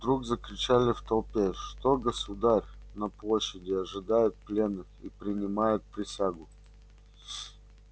вдруг закричали в толпе что государь на площади ожидает пленных и принимает присягу